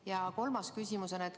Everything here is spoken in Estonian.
Ja on ka kolmas küsimus.